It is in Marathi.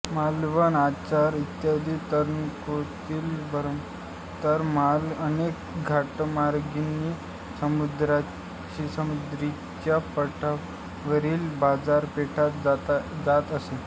मालवण आचरा इत्यादी तळकोकणातील बंदरांत उतरणारा माल अनेक घाटमार्गांनी सह्याद्रीच्या पठारावरील बाजारपेठांत जात असे